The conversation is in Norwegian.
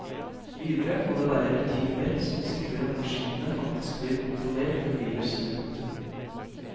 Videre må det være rutiner som sikrer at maskinene faktisk blir kontrollert for virus. punktum